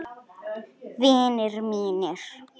Vinir mínir.